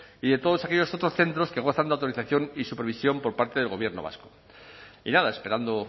y de todos aquellos otros centros que gozan de autorización y supervisión por parte del gobierno vasco y nada esperando